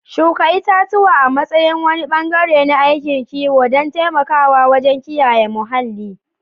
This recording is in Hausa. Shuka itatuwa a matsayin wani bangare na aikin kiwo don taimakawa wajen kiyaye muhalli.